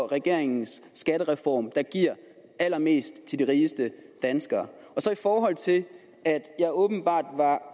regeringens skattereform der giver allermest til de rigeste danskere og så i forhold til at jeg åbenbart